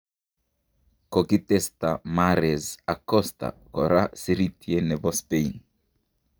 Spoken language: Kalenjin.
Kokitestaa Mahrez ak Costa koraa sirityeet nebo Spain.